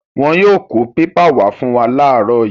Wọn yóò kó pépà wá fún wa láàárọ̀ yìí.